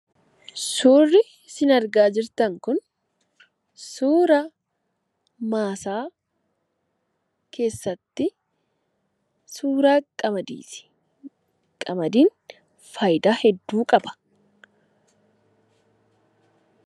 Suurri sin argaa jirtan kun, suuraa maasaa keessatti , suuraa qamadiiti. Qamadiin fayidaa hedduu qaba.